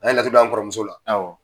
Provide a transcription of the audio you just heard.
A ye laturu blan kɔrɔmuso la. awɔ.